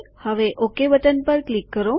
હવે okay button પર click કરો